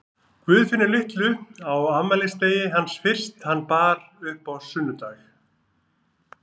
Guðfinnu litlu á afmælisdegi hans fyrst hann bar upp á sunnudag.